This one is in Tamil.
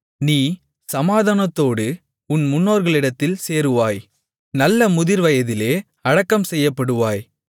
நீ சமாதானத்தோடு உன் முன்னோர்களிடத்தில் சேருவாய் நல்ல முதிர்வயதிலே அடக்கம்செய்யப்படுவாய்